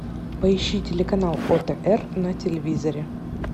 поищи телеканал отр на телевизоре